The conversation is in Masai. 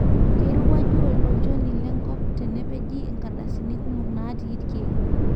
keirowuaju olchoni le nkop tenepeji nkartasini kumok natii ilkiek